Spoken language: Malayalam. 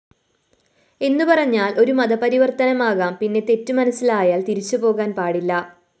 എന്നുപറഞ്ഞാല്‍ ഒരു മതപരിവര്‍ത്തനമാകാം പിന്നെ തെറ്റു മനസ്സിലായാല്‍ തിരിച്ചുപോകാന്‍ പാടില്ല